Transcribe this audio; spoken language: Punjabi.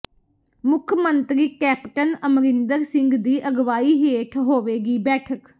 ਮੁੱਖ ਮੰਤਰੀ ਕੈਪਟਨ ਅਮਰਿੰਦਰ ਸਿੰਘ ਦੀ ਅਗਵਾਈ ਹੇਠ ਹੋਵੇਗੀ ਬੈਠਕ